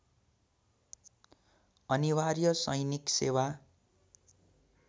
अनिवार्य सैनिक सेवा